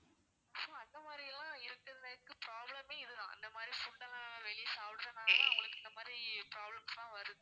so அந்த மாதிரியெல்லாம் இருக்கவங்களுக்கு problem மே இதுதான் அந்த மாதிரி food லாம் வெளிய சாப்பிடுறதுனால அவங்களுக்கு இந்த மாதிரி problems லாம் வருது